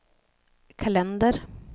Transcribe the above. kalender